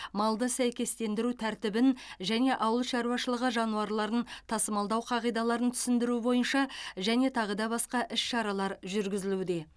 малды сәйкестендіру тәртібін және ауыл шаруашылығы жануарларын тасымалдау қағидаларын түсіндіру бойынша және тағыда басқа іс шаралар жүргізілуде